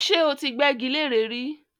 ṣé ó ti gbẹ́gi leré rí?